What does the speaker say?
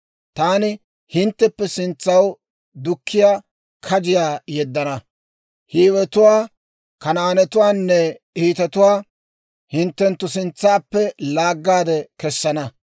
Taani hintteppe sintsaw dukkiyaa kajiyaa yeddana; Hiiwetuwaa, Kanaanetuwaanne Hiitetuwaa hinttenttu sintsaappe laaggaade kessana.